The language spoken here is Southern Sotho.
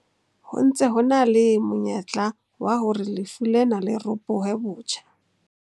Ho ntse ho na le monyetla wa hore lefu lena le ropohe botjha.